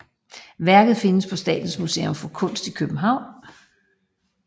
Værket findes på Statens Museum for Kunst i København